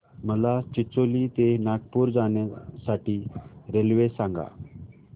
मला चिचोली ते नागपूर जाण्या साठी रेल्वे सांगा